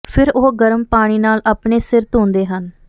ਫਿਰ ਉਹ ਗਰਮ ਪਾਣੀ ਨਾਲ ਆਪਣੇ ਸਿਰ ਧੋਂਦੇ ਹਨ